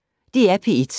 DR P1